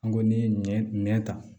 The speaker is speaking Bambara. An ko ni ye ɲɛn ta